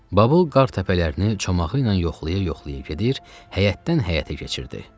Babıl qar təpələrini çomağı ilə yoxlaya-yoxlaya gedir, həyətdən həyətə keçirdi.